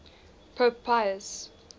pope pius